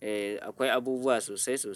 Eh, akwai abubuwa sosai sosai.